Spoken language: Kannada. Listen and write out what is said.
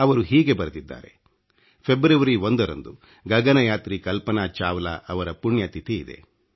ಅವರು ಹೀಗೆ ಬರೆದಿದ್ದಾರೆ ಫೆಬ್ರವರಿ 1 ರಂದು ಗಗನಯಾತ್ರಿ ಕಲ್ಪನಾ ಚಾವ್ಲಾ ಅವರ ಪುಣ್ಯ ತಿಥಿ ಇದೆ